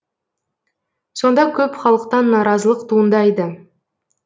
сонда көп халықтан наразылық туындайды